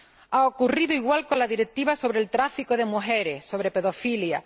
Ha ocurrido igual con la Directiva sobre el tráfico de mujeres, sobre pedofilia.